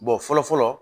fɔlɔ fɔlɔ